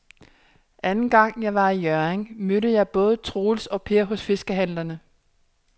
Anden gang jeg var i Hjørring, mødte jeg både Troels og Per hos fiskehandlerne.